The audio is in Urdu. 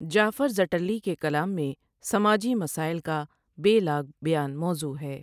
جعفر زٹلی کے کلام میں سماجی مسائل کا بے لاگ بیان موضوع ہے ۔